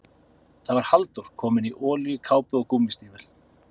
Það var Halldór, kominn í olíukápu og gúmmístígvél.